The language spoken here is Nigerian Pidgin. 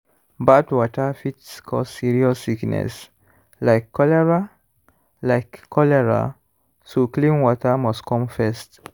bad water fit cause serious sickness like cholera like cholera so clean water must come first.